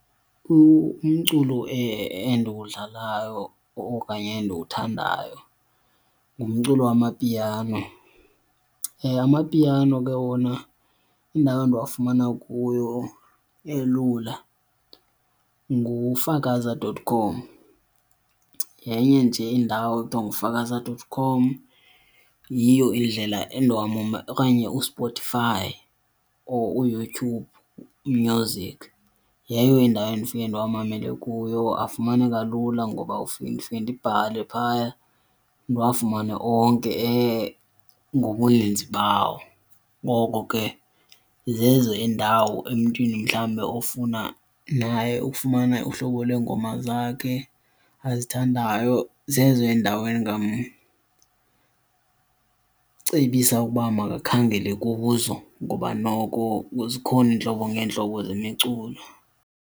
Umculo endiwudlalayo okanye endiwuthandayo ngumculo waMapiano. Amapiano ke wona indawo endiwafumana kuyo elula ngufakaza dot com, yenye nje indawo ekuthiwa ngufakaza dot com. Yiyo indlela okanye uSpotify or uYouTube Music, yeyo indawo endifike ndiwamamele kuyo. Afumaneka lula ngoba ufike ndifike ndibhale phaya ndiwafumane onke ngobuninzi bawo. Ngoko ke zezo iindawo emntwini mhlawumbe ofuna naye ukufumana uhlobo lweengoma zakhe azithandayo, zezo endaweni endingamcebisa ukuba makakhangele kuzo ngoba noko zikhona iintlobo ngeentlobo zemiculo.